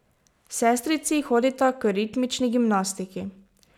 Sestrici hodita k ritmični gimnastiki.